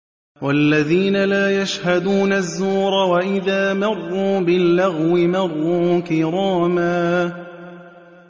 وَالَّذِينَ لَا يَشْهَدُونَ الزُّورَ وَإِذَا مَرُّوا بِاللَّغْوِ مَرُّوا كِرَامًا